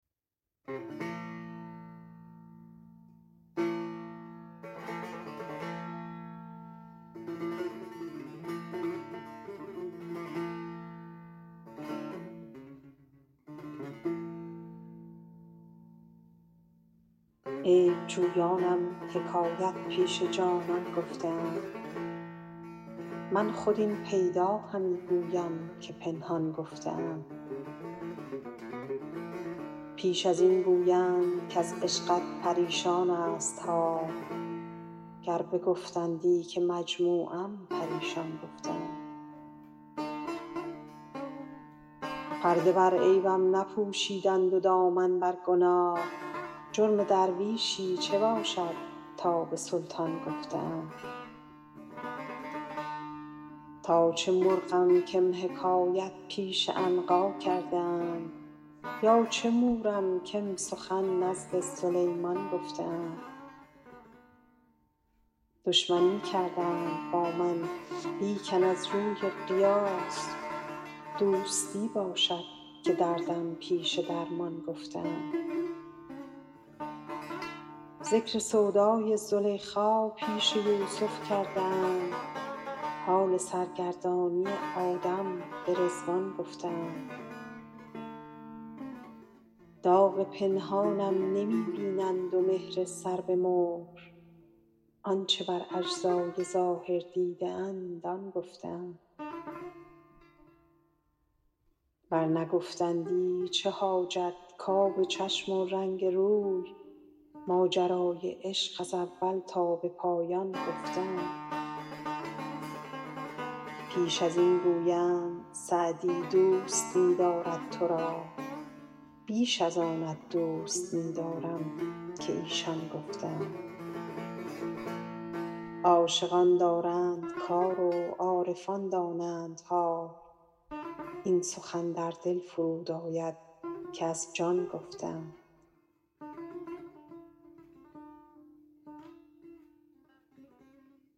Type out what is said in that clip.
عیب جویانم حکایت پیش جانان گفته اند من خود این پیدا همی گویم که پنهان گفته اند پیش از این گویند کز عشقت پریشان ست حال گر بگفتندی که مجموعم پریشان گفته اند پرده بر عیبم نپوشیدند و دامن بر گناه جرم درویشی چه باشد تا به سلطان گفته اند تا چه مرغم کم حکایت پیش عنقا کرده اند یا چه مورم کم سخن نزد سلیمان گفته اند دشمنی کردند با من لیکن از روی قیاس دوستی باشد که دردم پیش درمان گفته اند ذکر سودای زلیخا پیش یوسف کرده اند حال سرگردانی آدم به رضوان گفته اند داغ پنهانم نمی بینند و مهر سر به مهر آن چه بر اجزای ظاهر دیده اند آن گفته اند ور نگفتندی چه حاجت کآب چشم و رنگ روی ماجرای عشق از اول تا به پایان گفته اند پیش از این گویند سعدی دوست می دارد تو را بیش از آنت دوست می دارم که ایشان گفته اند عاشقان دارند کار و عارفان دانند حال این سخن در دل فرود آید که از جان گفته اند